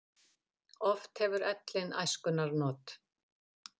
Oft hefur ellin æskunnar not.